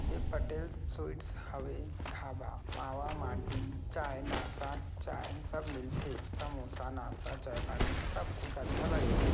ये पटेल स्वीट्स हवे ढाबा मावा माटी चाय नास्ता चाय सब मिलथे समोसा नास्ता चाय पानी सब कुछ अच्छा लागेल।